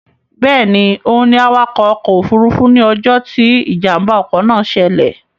Bẹ́ẹ̀ni, òun ni awakọ̀ ọkọ̀ òfurufú ní ọjọ́ tí Ìjàm̀bá ọkọ̀ náà ṣẹlẹ̀